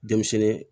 Denmisɛnnin